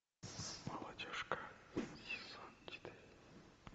молодежка сезон четыре